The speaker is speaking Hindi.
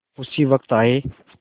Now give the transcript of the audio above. उसी वक्त आये